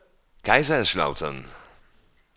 Kaiserslautern